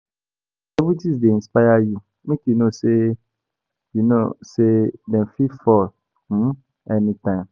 As celebrities dey inspire you, make you know sey dem fit fall anytime